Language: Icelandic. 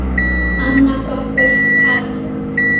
Annar flokkur karla.